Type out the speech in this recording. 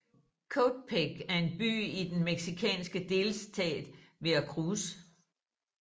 Coatepec er en by i den mexicanske delstat Veracruz